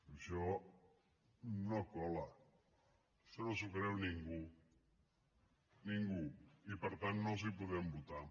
i això no cola això no s’ho creu ningú ningú i per tant no els podem votar